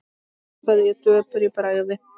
hugsaði ég döpur í bragði.